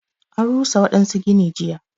An rusa waɗansu gini jiya.